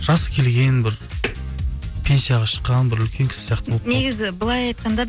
жас келген бір пенсияға шыққан бір үлкен кісі сияқты негізі былай айтқанда